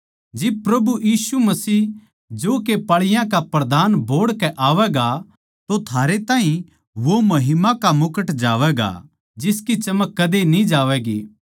जिब प्रभु यीशु मसीह जो के पाळीयाँ का प्रधान बोहड़ के आवैगा तो थारै ताहीं वो महिमा का मुकुट जावैगा जिसकी चमक कदे न्ही जावैगी